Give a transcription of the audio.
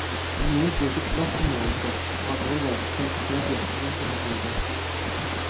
Noen vil bruke et glass som målestokk og andre vil velge kvalifisert gjetning som metode.